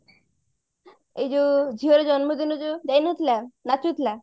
ଏଇ ଯୋଉ ଝିଅର ଜନ୍ମଦିନ ଯୋଉ ଯାଇନଥିଲା ନାଚୁଥିଲା